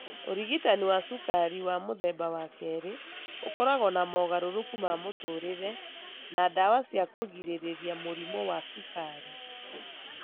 Ũrigitani wa cukari wa mũthemba wa kerĩ ũkoragwo na mogarũrũku ma mũtũũrĩre na ndawa cia kũgirĩrĩria mũrimũ wa cukari.